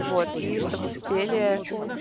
вот и чтобы в теле